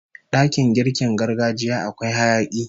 Dakin girkin gargajiya akwai hayaki